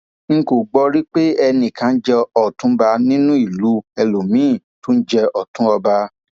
n kò gbọ ọ rí pé ẹnì kan jẹ òtúnba nínú ìlú ẹlòmíín tún jẹ ọtún ọba